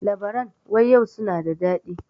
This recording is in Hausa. Labaran wayau su na da daɗi.